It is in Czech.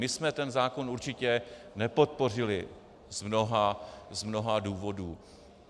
My jsme ten zákon určitě nepodpořili z mnoha důvodů.